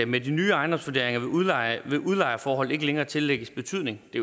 med de nye ejendomsvurderinger vil udlejeforholdet udlejeforholdet ikke længere tillægges betydning det